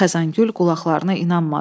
Xəzangül qulaqlarına inanmadı.